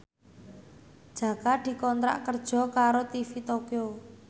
Jaka dikontrak kerja karo TV Tokyo